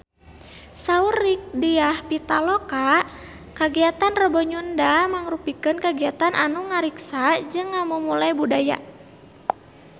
Saur Rieke Diah Pitaloka kagiatan Rebo Nyunda mangrupikeun kagiatan anu ngariksa jeung ngamumule budaya Sunda